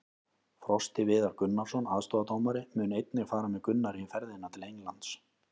Frosti Viðar Gunnarsson, aðstoðardómari, mun einnig fara með Gunnari í ferðina til Englands.